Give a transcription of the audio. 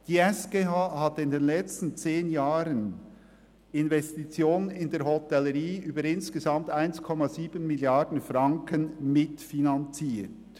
Die SGH hat in den letzten zehn Jahren Investitionen in der Hotellerie von insgesamt 1,7 Mrd. Franken mitfinanziert.